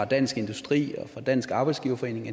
dansk industri og dansk arbejdsgiverforening